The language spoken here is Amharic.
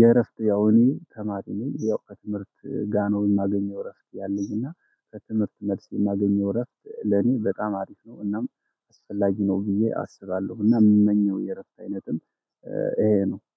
የእረፍት ያው እኔ ተማሪ ነኝ። ያው ከትምህርት ጋኖ የማገኘው እረፍት ያለኝ እና ከትምህርት መልስ የማገኘው እረፍት ለኔ በጣም አሪፍ ነው። እናም አስፈላጊ ነው ብዬ አስባለሁ። እና የምመኘው የረፍት አይነትም ይሄ ነው